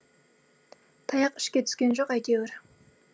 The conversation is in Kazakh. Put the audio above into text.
таяқ ішке түскен жоқ әйтеуір